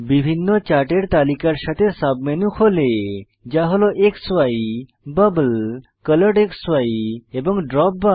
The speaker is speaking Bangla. বিভিন্ন চার্টের তালিকার সাথে সাবমেনু খোলে যা হল ক্সি বাবল কলরেডক্সি এবং দ্রোপবার